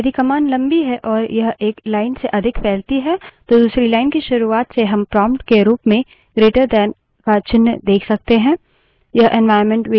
यदि command लम्बी है और यह एक line से अधिक फैलती है तो दूसरी line की शुरूआत से हम prompt के रूप में greater दैन का चिन्ह > देख सकते हैं